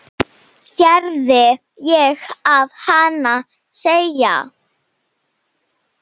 heyrði ég að hana segja.